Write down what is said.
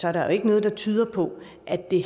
er der jo ikke noget der tyder på at det